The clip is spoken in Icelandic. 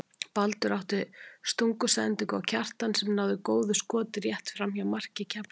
Baldur átti stungusendingu á Kjartan sem náði góðu skoti rétt framhjá marki Keflvíkinga.